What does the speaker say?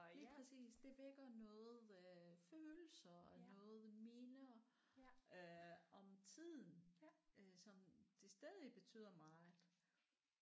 Lige præcis det vækker noget øh følelser og noget minder øh om tiden øh som det stadig betyder meget